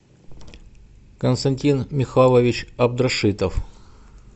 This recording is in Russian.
константин михайлович абдрашитов